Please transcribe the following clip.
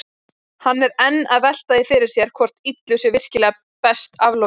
Hann er enn að velta því fyrir sér hvort illu sé virkilega best aflokið.